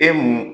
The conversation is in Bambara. E mun